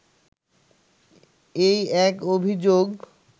এই এক অভিযোগ